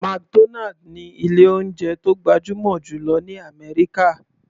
McDonald ní ilé oúnjẹ tó gbajúmọ̀ jù lọ ní àmẹ́ríkà.